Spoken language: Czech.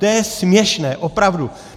To je směšné, opravdu!